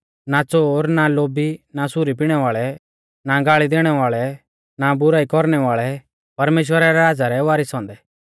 ना च़ोर ना लोभी ना सुरी पिणै वाल़ै ना गाल़ी देणै वाल़ै ना बुराई कौरणै वाल़ै परमेश्‍वरा रै राज़ा रै वारीस औन्दै